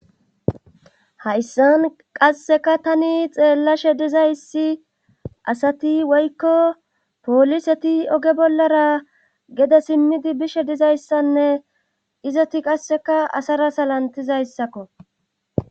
Hayssan qasseka tani xeellashe dizayssi asati woykko pooliseti oge bollara gede simmidi bishe dizayssanne izoti qasseka asara salantizayssakko